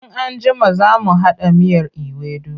In an jima za mu haɗa miyar iwedu.